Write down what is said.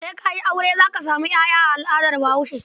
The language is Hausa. Sai ka yi aure za ka samu ƴaƴa a al'adar Bahaushe.